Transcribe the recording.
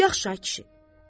Yaxşı, ay kişi.